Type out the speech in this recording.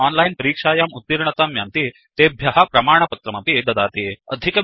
ये ओनलाइन् परीक्षायाम् उत्तीर्णतां यान्ति तेभ्य प्रमाणपत्रमपि ददाति